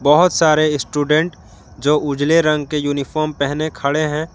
बहुत सारे स्टूडेंट जो उजले रंग के यूनिफॉर्म पहने खड़े हैं।